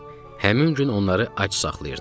Həmin gün onları ac saxlayırdı.